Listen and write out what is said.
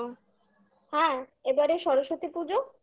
হ্যাঁ, এবারে সরস্বতী পুজো